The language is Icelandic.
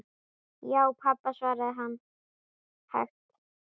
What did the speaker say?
Já, pabba, svaraði hann hægt.